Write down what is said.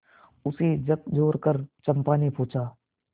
उसे झकझोरकर चंपा ने पूछा